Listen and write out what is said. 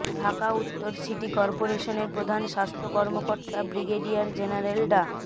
ঢাকা উত্তর সিটি কর্পোরেশনের প্রধান স্বাস্থ্য কর্মকর্তা ব্রিগেডিয়ার জেনারেল ডা